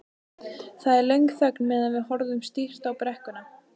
Það er löng þögn meðan við horfum stíft á brekkuna.